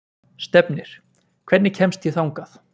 Stefnir, hvernig kemst ég þangað?